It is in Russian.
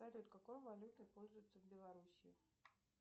салют какой валютой пользуются в белоруссии